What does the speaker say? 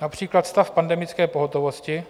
Například stav pandemické pohotovosti,